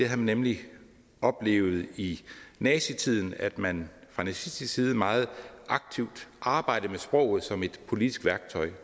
havde nemlig oplevet i nazitiden at man fra nazistisk side meget aktivt arbejdede med sproget som et politisk værktøj